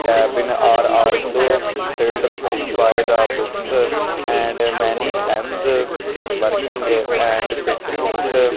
cabin are also filled by the books and many pens working and biscuits --